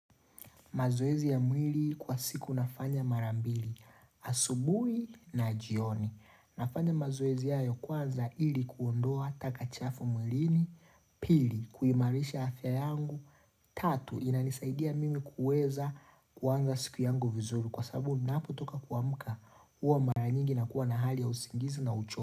Mazoezi ya mwili kwa siku nafanya mara mbili, asubui na jioni. Nafanya mazoezi hayo kwanza ili kuondoa taka chafu mwilini, pili, kuhimarisha afya yangu, tatu, inanisaidia mimi kueza kuanza siku yangu vizuri. Kwa sababu napotoka kuamuka uwa mara nyingi na kuwa na hali ya usingizi na ucho.